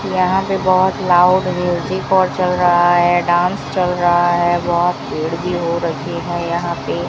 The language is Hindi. यहां पे बहोत लाउड म्यूजिक और चल रहा है डांस चल रहा है बहोत भीड़ भी हो रही है यहां पे --